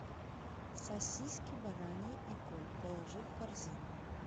сосиски бараньи эколь положи в корзину